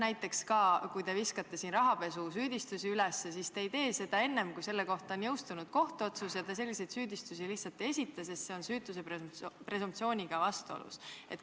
Näiteks kui te viskate siin rahapesusüüdistusi üles, siis te edaspidi ei tee seda enne, kui on jõustunud kohtuotsus, ja te selliseid süüdistusi lihtsalt ei esita, sest see oleks süütuse presumptsiooniga vastuolus?